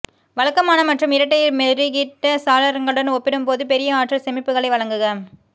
வழக்கமான மற்றும் இரட்டை மெருகிட்ட சாளரங்களுடன் ஒப்பிடும்போது பெரிய ஆற்றல் சேமிப்புகளை வழங்குக